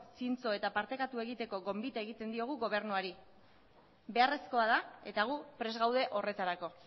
zintzo eta partekatu egiteko gonbitea egiten diogu gobernuari beharrezkoa da eta gu prest gaude horretarako